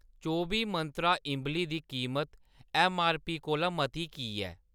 चौबी मंत्रा इंबली दी कीमत ऐम्मआरपी कोला मती की ऐ?